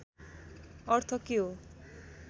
अर्थ के हो